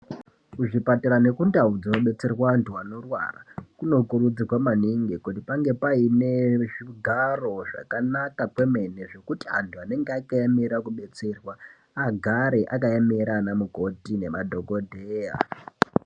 Kuzvipatara nekundau dzinodetserwa antu anorwara kunokurudzirwa maningi kuti pange paine zvigaro zvakanaka kwemene zvekuti antu anenge akaemera kudetserwa agare akaemera ana mukoti nemadhokodheya.